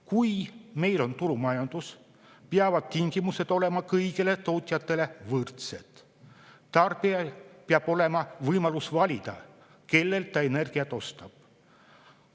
Kui meil on turumajandus, peavad tingimused olema kõigile tootjatele võrdsed ja tarbijal peab olema võimalus valida, kellelt ta energiat ostab.